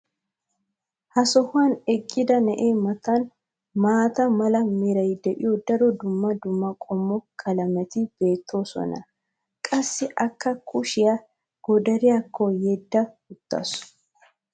ha sohuwan eqqida na'ee matan maata mala meray de'iyo daro dumma dumma qommo qalametti beetoosona. qassi akka kushiya goddariyaakko yedda utaasu.